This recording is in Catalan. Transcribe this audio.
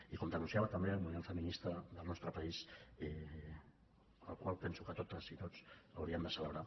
i com denunciava també el moviment feminista del nostre país el qual penso que totes i tots hauríem de celebrar